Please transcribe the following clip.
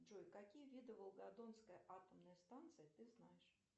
джой какие виды волгодонской атомной станции ты знаешь